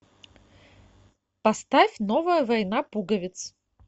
поставь новая война пуговиц